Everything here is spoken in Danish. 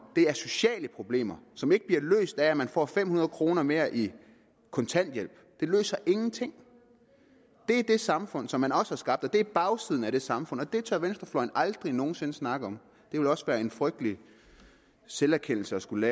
sociale problemer som ikke bliver løst af at man får fem hundrede kroner mere i kontanthjælp det løser ingenting det er det samfund som man også har skabt og det er bagsiden af det samfund og det tør venstrefløjen aldrig nogen sinde snakke om det ville også være en frygtelig selverkendelse at skulle